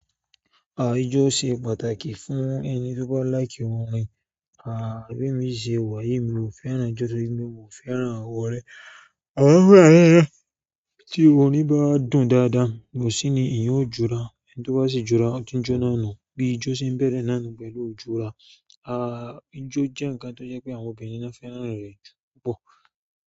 Àìjo ṣe pàtàkì fún ẹni tí ó bá láì kí wọn rìn. Aa bí mi ṣe wàyi mi ò fẹ́ràn ijó torí pé mi ò fẹ́ràn àwọ̀ rẹ̀. Àan fún ẹ́ẹ́ ee tí orin bá dùn dáadáa, kòsí ni ìyan ó jura. Ẹni tí ó bá sì jura, ó tin jọ náà nù. Bí ìjo ṣe ń bẹ̀rẹ̀ náà pẹ̀lú ijúura. Àìjo jẹ́ ǹkan tó jẹ́ pé àwọn obìnrin ni nfẹ́ràn rẹ̀ ju púpọ̀.